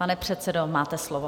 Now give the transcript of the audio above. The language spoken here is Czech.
Pane předsedo, máte slovo.